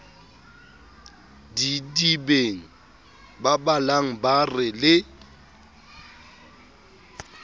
didibeng babalang ba re le